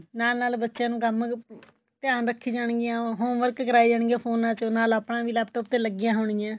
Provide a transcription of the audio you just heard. ਨਾਲ ਨਾਲ ਬੱਚਿਆ ਨੂੰ ਕੰਮ ਧਿਆਨ ਰੱਖੀ ਜਾਣਗੀਆਂ home work ਕਰਾਈ ਜਾਣਗੀਆਂ ਫੋਨਾ ਚੋ ਨਾਲ ਆਪਣਾ ਵੀ laptop ਤੇ ਲੱਗੀਆਂ ਹੋਣ ਗੀਆਂ